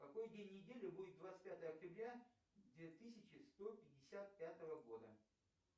какой день недели будет двадцать пятое октября две тысячи сто пятьдесят пятого года